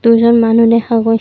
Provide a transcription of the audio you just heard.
দুজন মানুহ দেখা গৈছ--